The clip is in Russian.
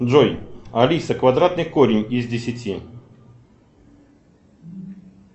джой алиса квадратный корень из десяти